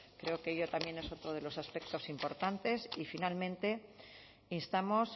creo que ello también es otro de los aspectos importantes y finalmente instamos